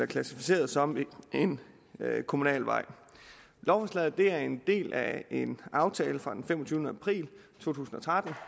klassificeret som en kommunal vej lovforslaget er en del af en aftale fra den femogtyvende april to tusind og tretten